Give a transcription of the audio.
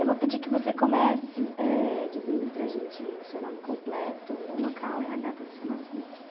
Eu vou pedir que você comece, eh, dizendo para a gente o seu nome completo, o local e a data do seu nascimento.